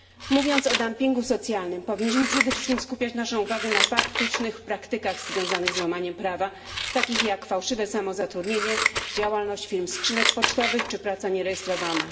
Mówiąc o dumpingu socjalnym, powinniśmy przede wszystkim skupiać naszą uwagę na faktycznych praktykach związanych z łamaniem prawa, takich jak fałszywe samozatrudnienie, działalność firm skrzynek pocztowych czy praca nierejestrowana.